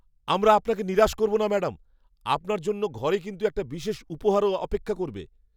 আমরা আপনাকে নিরাশ করব না, ম্যাডাম। আপনার জন্য ঘরে কিন্তু একটা বিশেষ উপহারও অপেক্ষা করবে।